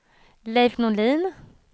Leif Norlin